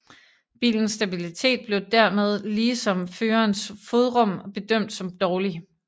Bilens stabilitet blev dermed ligesom førerens fodrum bedømt som dårlig